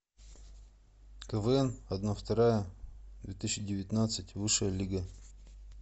квн одна вторая две тысячи девятнадцать высшая лига